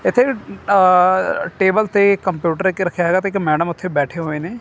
ਏੱਥੇ ਆ ਟੇਬਲ ਤੇ ਕੰਪਿਊਟਰ ਇੱਕ ਰੱਖੇਆ ਹੈਗਾ ਤੇ ਇੱਕ ਮੈਡਮ ਉੱਥੇ ਬੈਠੇ ਹੋਏ ਨੇ।